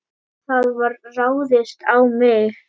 Það var ráðist á mig.